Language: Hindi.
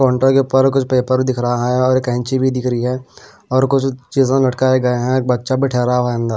काउंटर के ऊपर कुछ पेपर दिख रहा है और कैंची भी दिख रही है और कुछ चीजों लटकाए गए है। एक बच्चा भी ठहरा हुआ अंदर--